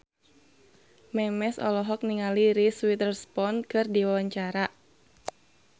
Memes olohok ningali Reese Witherspoon keur diwawancara